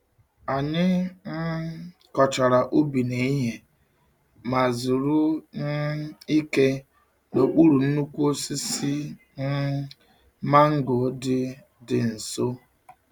Anyị um kọchara ubi n’ehihie ma zuru um ike n’okpuru nnukwu osisi um mango dị dị nso.